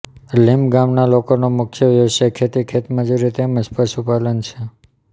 limb ગામના લોકોનો મુખ્ય વ્યવસાય ખેતી ખેતમજૂરી તેમ જ પશુપાલન છે